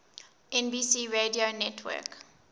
nbc radio network